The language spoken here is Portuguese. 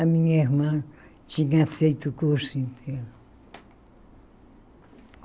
A minha irmã tinha feito o curso inteiro.